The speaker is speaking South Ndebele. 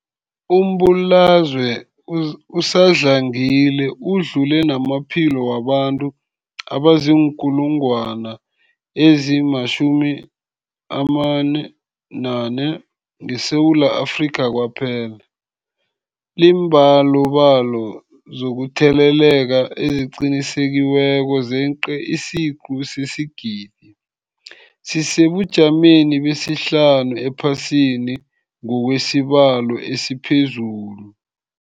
Umbulalazwe usadlangile udlule namaphilo wabantu abaziinkulungwana ezi-11 ngeSewula Afrika kwaphela. Iimbalobalo zokutheleleka eziqinisekisiweko zeqe isiquntu sesigidi, sisesebujameni besihlanu ephasini ngokwesibalo esiphezulu.